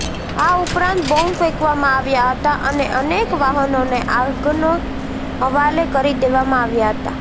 આ ઉપરાંત બોમ્બ ફેંકવામાં આવ્યા હતા અને અનેક વાહનોને આગને હવાલે કરી દેવામાં આવ્યા હતા